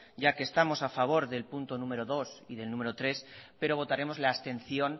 ya que estamos a favor del punto número dos y del número tres pero votaremos la abstención